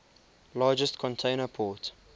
largest container port